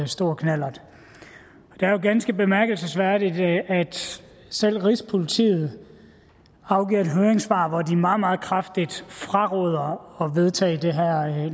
stor knallert det er jo ganske bemærkelsesværdigt at selv rigspolitiet har afgivet et høringssvar hvor de meget meget kraftigt fraråder at vedtage det her